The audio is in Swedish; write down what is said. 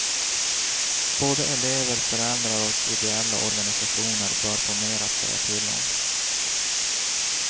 Både elever, föräldrar och ideella organisationer bör få mer att säga till om.